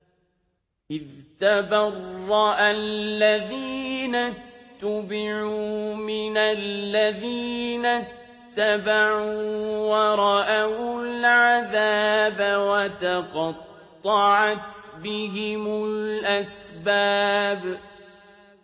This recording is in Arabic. إِذْ تَبَرَّأَ الَّذِينَ اتُّبِعُوا مِنَ الَّذِينَ اتَّبَعُوا وَرَأَوُا الْعَذَابَ وَتَقَطَّعَتْ بِهِمُ الْأَسْبَابُ